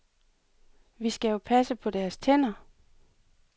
Vi skal jo passe på deres tænder.